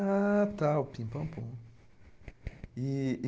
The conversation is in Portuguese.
Ah, tá, o Pim Pam Pum. E e